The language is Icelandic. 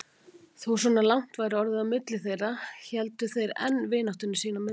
Þó svona langt væri orðið á milli þeirra héldu þeir enn vináttunni sín í milli.